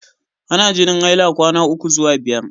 Ana jinin haila kwana ukwu zuwa biyar.